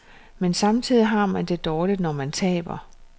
Men samtidig har man det dårligt, når man taber.